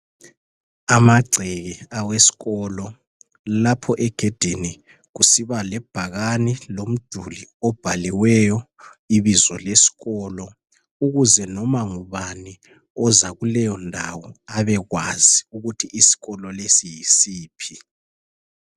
Amagceke awesikolo lapho egedini kusiba lebhakane lomduli obhaliweyo ibizo lesikolo ukuze noma ngubani oza kuleyondawo abe kwazi ukuthi isikolo lesi yisiphi.